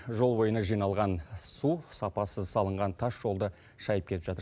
жол бойына жиналған су сапасыз салынған тас жолды шәйіп кетіп жатыр